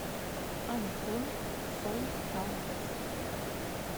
антон солтамов